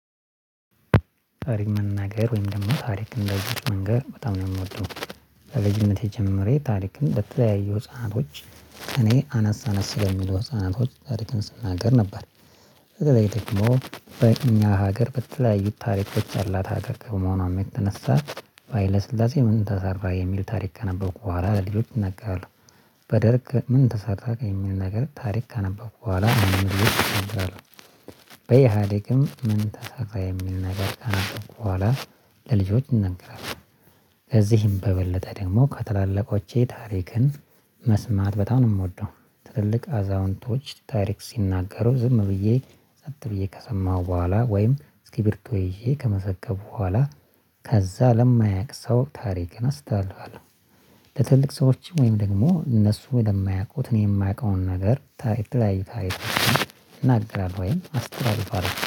ታሪክ መናገር ወይም ደግሞ ታሪክ ለልጆች መንገር በጣም ነው የምወደው። ከልጅነቴ ጀምሬ ታሪክን ለተለያዩ ህፃናቶች ከእኔ አነስ አነስ ለሚሉ ህፃናቶች ታሪክን ስናገር ነበር። በተለይ ደግሞ በእኛ ሀገር በተለያዩ ታሪኮች ያላት ሀገር ከመሆኗ የተነሳ፤ በሃይለ ስላሴ ምን ተሰራ የሚል ታሪክ ካነበብኩ በኋላ ለሌሎች እናገራለሁ። በደርግ ምን ተሰራ ከሚል ነገር ታሪክ ካነበብኩ በኋላ በኢህአዴግም ምን ተሰራ የሚል ነገር ካነበብኩ በኋላ ለልጆች እናገራልሁ። ከዚህም በበለጠ ደግሞ ከትላልቆቼ ታሪክን መስማት በጣም ነው የምወደው። ትልቅ አዛውንቶች ታሪክ ሲናገሩ ዝም ብዬ ጸጥ ብዬ ከሰማሁ በኋላ ወይም እስኪብርቶ ይዤ ከመዘገብኩ በኋላ ከዛ ለማያቅ ሰው ታሪክን አስተላልፋለሁ። በትልቅ ሰዎች ወይም ደግሞ እነሱ ለማያውቁት እኔ የማውቀውን ነገር ታሪክ የተለያዩ ታሪኮችን እናገራለሁ ወይም አስተላልፋለሁ።